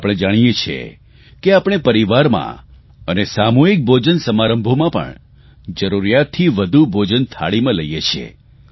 આપણે જાણીએ છીએ કે આપણે પરિવારમાં અને સામૂહિક ભોજન સમારંભોમાં પણ જરૂરિયાતથી વધુ ભોજન થાળીમાં લઇએ છીએ